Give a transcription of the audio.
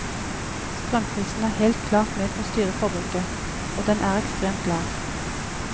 Strømprisen er helt klart med på å styre forbruket, og den er ekstremt lav.